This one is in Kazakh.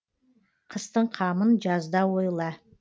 қыстың қамын жазда ойла